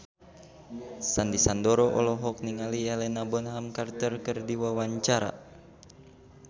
Sandy Sandoro olohok ningali Helena Bonham Carter keur diwawancara